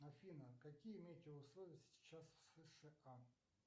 афина какие метеоусловия сейчас в сша